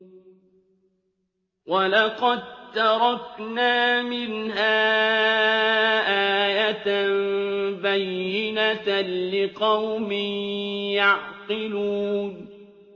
وَلَقَد تَّرَكْنَا مِنْهَا آيَةً بَيِّنَةً لِّقَوْمٍ يَعْقِلُونَ